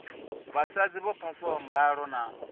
vhasadzi vho phasaho mbalo na